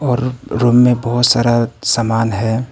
और रूम में बहुत सारा सामान है।